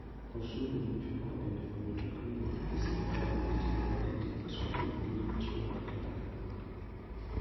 Osuru michoko e ndiko mtokni gi sirkal itiyogo e tij trafik gi ritruok e ndara.